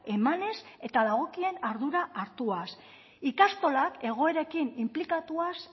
emanez eta dagokien ardura hartuaz ikastolak egoerekin inplikatuaz